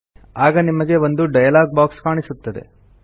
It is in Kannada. ಆಗ ನಿಮಗೆ ಒಂದು ಡೈಲಾಗ್ ಬಾಕ್ಸ್ ಕಾಣಿಸುತ್ತದೆ